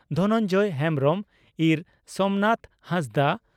ᱫᱷᱚᱱᱚᱱᱡᱚᱭ ᱦᱮᱢᱵᱽᱨᱚᱢ ᱤᱸᱨ ᱥᱚᱢᱱᱟᱛᱷᱟ ᱦᱟᱸᱥᱫᱟᱜ